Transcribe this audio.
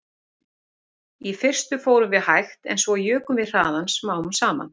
Í fyrstu fórum við hægt en svo jukum við hraðann smám saman